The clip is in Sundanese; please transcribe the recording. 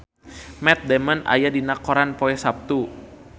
Matt Damon aya dina koran poe Saptu